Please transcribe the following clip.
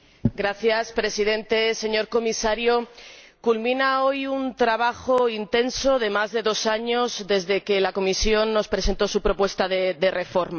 Señor Presidente, señor Comisario, culmina hoy un trabajo intenso de más de dos años desde que la Comisión nos presentó su propuesta de reforma.